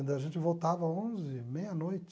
A gente voltava onze, meia-noite.